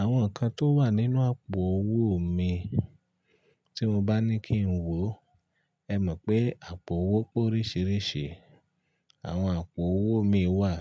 Àwọn nǹkan tó wà nínú àpò owó mi tí mo bá ní kí n wò, ẹ mọ̀ pé àpò owó pé oríṣiríṣi. Àwọn àpò owó mi wà